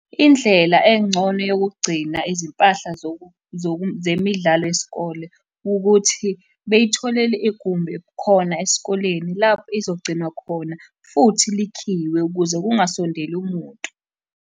Indlela engcono yokugcina izimpahla zemidlalo yesikole, ukuthi bey'tholele igumbi khona esikoleni lapho izogcinwa khona, futhi likhiywe ukuze kungasondeli muntu.